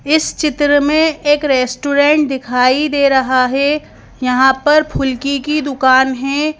इस चित्र में एक रेस्टोरेंट दिखाई दे रहा है यहाँ पर फुलकी की दुकान है।